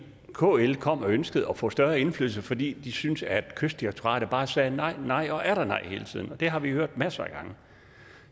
kl kom og ønskede at få større indflydelse fordi de synes at kystdirektoratet bare sagde nej nej og atter nej hele tiden og det har vi jo hørt masser af gange